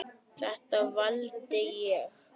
Þetta valdi ég.